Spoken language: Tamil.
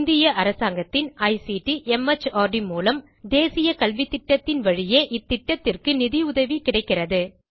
இந்திய அரசாங்கத்தின் ஐசிடி மார்ட் மூலம் தேசிய கல்வித்திட்டத்தின் வழியே இத்திட்டத்திற்கு நிதி உதவி கிடைக்கிறது